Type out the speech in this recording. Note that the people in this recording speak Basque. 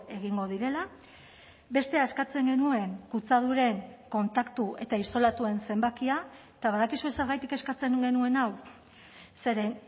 egingo direla bestea eskatzen genuen kutsaduren kontaktu eta isolatuen zenbakia eta badakizue zergatik eskatzen genuen hau zeren